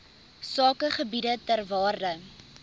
sakegebiede ter waarde